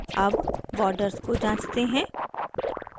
अब borders को जांचते हैं